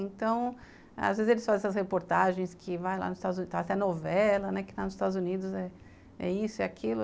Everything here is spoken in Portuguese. Então, às vezes eles fazem essas reportagens que vai lá nos Estados Unidos, tem até novela, né, que está nos Estados Unidos, é isso, é aquilo.